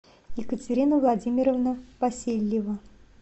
екатерина владимировна васильева